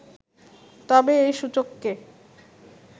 তবে এই সূচককে